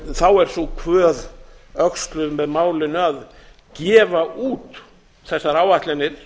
þá er sú kvöð öxluð með málinu að gefa út þessar áætlanir